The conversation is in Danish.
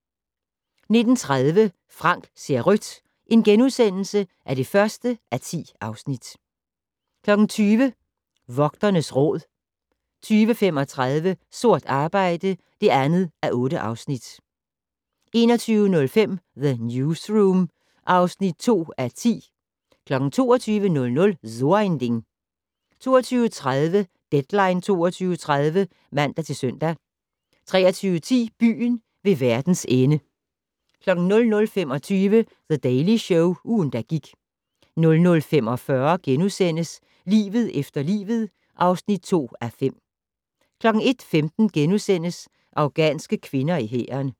19:30: Frank ser rødt (1:10)* 20:00: Vogternes Råd 20:35: Sort arbejde (2:8) 21:05: The Newsroom (2:10) 22:00: So ein Ding 22:30: Deadline 22.30 (man-søn) 23:10: Byen ved verdens ende 00:25: The Daily Show - ugen, der gik 00:45: Livet efter livet (2:5)* 01:15: Afghanske kvinder i hæren *